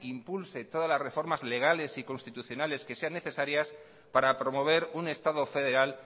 impulse todas las reformas legales y constitucionales que sean necesarias para promover un estado federal